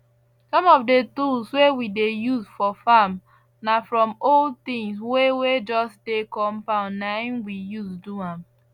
some of the tools wey we dey use for farm na from old things wey wey just dey compound na him we use do am